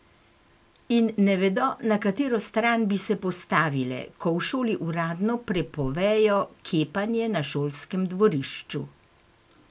In ne vedo, na katero stran bi se postavile, ko v šoli uradno prepovejo kepanje na šolskem dvorišču ...